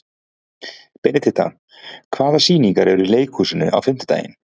Benidikta, hvaða sýningar eru í leikhúsinu á fimmtudaginn?